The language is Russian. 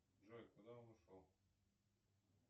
джой куда он ушел